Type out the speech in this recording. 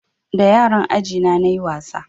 Da yaran aji na nayi wasa